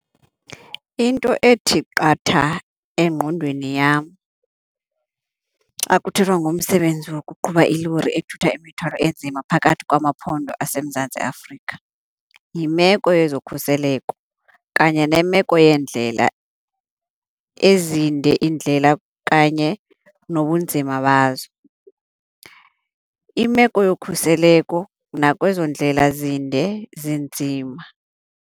Into ethi qatha engqondweni yam xa kuthethwa ngomsebenzi wokuqhuba ilori ethutha imithwalo enzima phakathi kwamaphondo aseMzantsi Afrika, yimeko yezokhuseleko kanye nemeko yeendlela, ezinde indlela kanye nobunzima bazo. Imeko yokhuseleko nakwezo ndlela zinde zinzima.